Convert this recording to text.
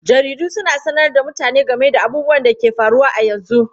Jaridu suna sanar da mutane game da abubuwan da ke faruwa a yanzu.